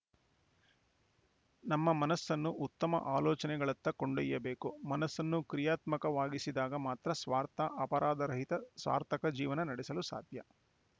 ನಮ್ಮ ಮನಸ್ಸನು ಉತ್ತಮ ಆಲೋಚನೆಗಳತ್ತ ಕೊಂಡೊಯ್ಯಬೇಕು ಮನಸ್ಸನ್ನು ಕ್ರಿಯಾತ್ಮಕವಾಗಿಸಿದಾಗ ಮಾತ್ರ ಸ್ವಾರ್ಥ ಅಪರಾಧ ರಹಿತ ಸಾರ್ಥಕ ಜೀವನ ನಡೆಸಲು ಸಾಧ್ಯ